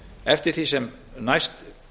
eftir því sem næst